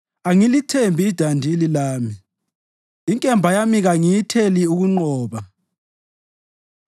Angilithembi idandili lami, inkemba yami kayingiletheli ukunqoba;